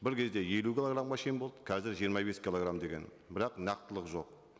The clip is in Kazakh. бір кезде елу килограммға шейін болды қазір жиырма бес килограмм деген бірақ нақтылық жоқ